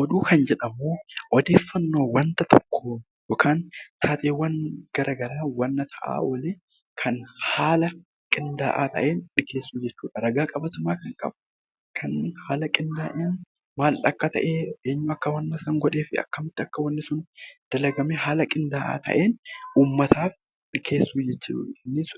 Oduu kan jedhamu odeeffannoo wanta tokkoo yookiin taateewwan garaa garaa wanta ta'aa oole kan haala qinda'aa ta'een dhiyeessuu jechuudha. Ragaa qabatamaa ta'een; kan qindaa'een eenyu akka ta'e; eenyu akka waan sana godhe, akkamitti akka wantichi dalagame haala qindaa'a ta'een uummataaf dhiyeessuu jechuudha. Innis